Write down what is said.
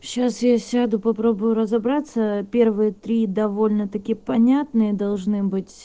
сейчас я сяду попробую разобраться первые три довольно-таки понятные должны быть